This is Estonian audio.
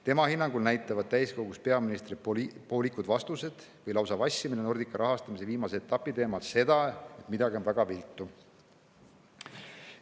Tema hinnangul näitavad täiskogus peaministri poolikud vastused või lausa vassimine Nordica rahastamise viimase etapi teemal seda, et midagi on väga viltu.